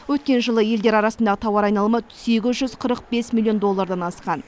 өткен жылы елдер арасындағы тауар айналымы сегіз жүз қырық бес миллион доллардан асқан